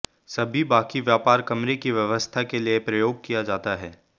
सभी बाकी व्यापार कमरे की व्यवस्था के लिए प्रयोग किया जाता है